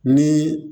Ni